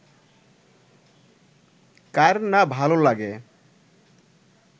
কার না ভালো লাগে